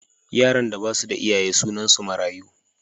Yaran da ba su da iyaye sunansu mayaru.